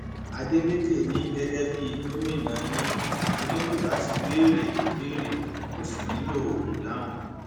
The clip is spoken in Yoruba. adeleke ní gẹgẹ bíi gómìnà yín mo nílò láti béèrè ìbéèrè mo sì nílò ìdáhùn